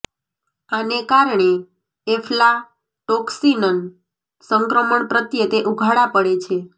આને કારણે એફ્લાટોક્સિન સંક્રમણ પ્રત્યે તે ઉઘાડા પડે છે